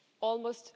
almost